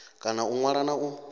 kona u ṅwala na u